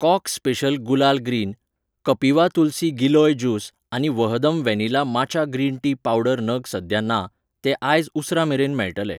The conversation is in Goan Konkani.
Kock special gulal green , Kapiva tulsi giloy juice आनी Vahdam vanilla matcha green tea powder नग सद्या ना, ते आयज उसरां मेरेन मेळटले.